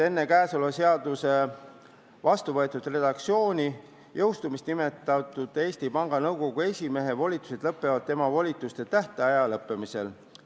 Enne käesoleva seaduse vastuvõetud redaktsiooni jõustumist nimetatud Eesti Panga Nõukogu esimehe volitused lõpevad tema volituste tähtaja lõppemisel.